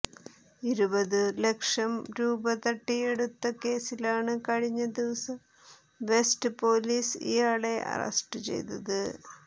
ഇരുപതു ലക്ഷം രൂപ തട്ടിയെടുത്ത കേസിലാണ് കഴിഞ്ഞ ദിവസം വെസ്റ്റ് പോലീസ് ഇയാളെ അറസ്റ്റ് ചെയ്തത്